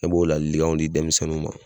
Ne b'o laalikanw di denmisɛnninw ma.